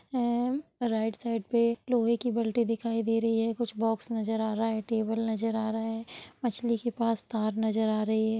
M और right side पर लोहे की बाल्टी दिखाई दे रही है| कुछ बॉक्स नजर आ रहा है टेबल नजर आ रहा है| मछली के पास तार नजर आ रही है।